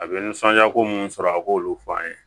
A bɛ nisɔndiya ko minnu sɔrɔ a k'olu fɔ an ye